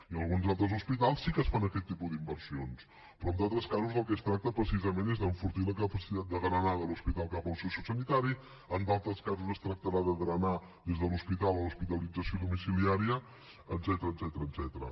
i a alguns altres hospitals sí que es fan aquest tipus d’inversions però en altres casos del que es tracta precisament és d’enfortir la capacitat de drenada de l’hospital cap al sociosanitari en d’altres casos es tractarà de drenar des de l’hospital a l’hospitalització domiciliària etcètera